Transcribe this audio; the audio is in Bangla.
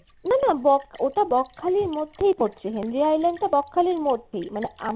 না না বক ওটা বকখালির মধ্যেই পড়ছে। হেনরি island টা বকখালির মধ্যেই